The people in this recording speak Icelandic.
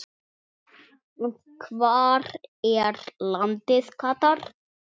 og Hvar er landið Katar?